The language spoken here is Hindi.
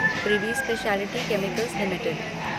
privy speciality chemicals limited